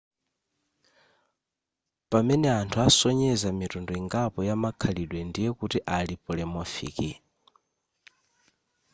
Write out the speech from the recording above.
pamene anthu asonyeza mitundu ingapo ya makhalidwe ndiye kuti ali polymorphic